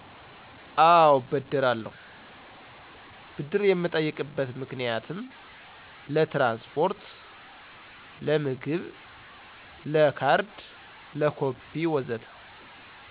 አዎ እበደራለሁ፣ ብድር የምጠይቅበት ምክንያትም ለትራንስፖርት፣ ለምግብ፣ ለካርድ፣ ለኮፒ ወዘተ